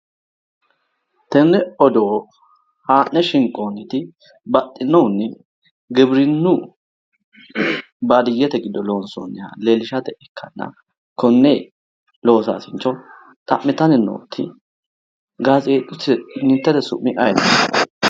Tenne odoo haa'ne shinqooniti baxxinohunni giwirinnu baadiyyete wido loonsonniha leellishate ikkanna konne loosaasincho xa'mitanni nooti gazeexitte su'mi ayeeti?